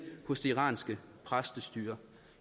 hos det iranske præstestyre